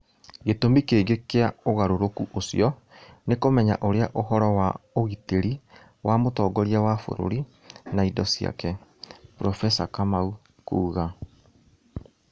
Gĩtũmi kĩngĩ kĩa ũgarũrũku ũcio nĩ kũmenya Ũrĩa ũhoro wa ũgitĩri wa mũtongoria wa bũrũri na indo ciake, profesa kamau kuga